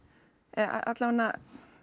alla vega